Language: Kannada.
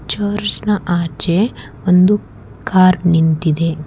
ಚರ್ಚ್ನ ಆಚೆ ಒಂದು ಕಾರ್ ನಿಂತಿದೆ.